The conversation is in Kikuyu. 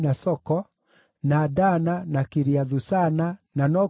na Dana, na Kiriathu-Sana (na no kuo Debiri),